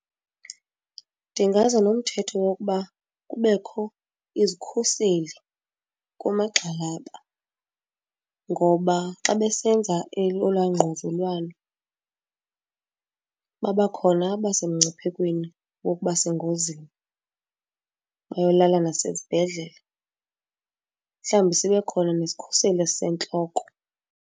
Ndingaza nomthetho wokuba kubekho izikhuseli kumagxalaba, ngoba xa besenza olwaa ngquzulwano babakhona abasemngciphekweni wokuba sengozini bayolala nasezibhedlele. Mhlawumbi sibe khona nesikhuseli esisentloko.